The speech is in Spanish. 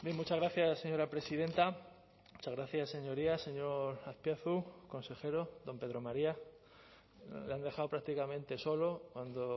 muchas gracias señora presidenta muchas gracias señorías señor azpiazu consejero don pedro maría le han dejado prácticamente solo cuando